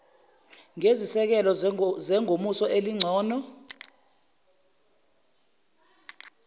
ngezisekelo zengomuso elingcono